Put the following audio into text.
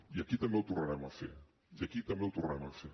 i aquí també ho tornarem a fer i aquí també ho tornarem a fer